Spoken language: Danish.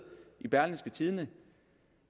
i berlingske tidende og